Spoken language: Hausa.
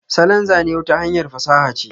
salon Zane wata hanyar fasaha ce.